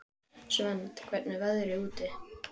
Svend, hvernig er veðrið úti?